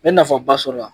N bɛ nafaba sɔrɔ a la